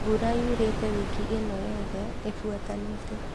Mbura yurĩte wiki ĩno yote ĩbuatanĩte